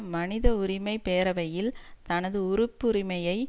மனித உரிமை பேரவையில் தனது உறுப்புரிமையை